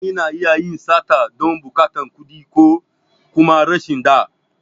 Mutane na iya yin sata don buƙatar kuɗi ko kuma rashin ɗa’a.